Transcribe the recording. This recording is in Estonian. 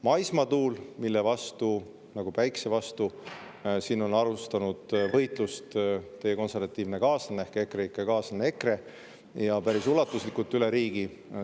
Maismaa tuule vastu, nagu ka päikese vastu, on alustanud üle riigi päris ulatuslikku võitlust teie konservatiivne kaaslane EKRE, kellega olite koos EKREIKE.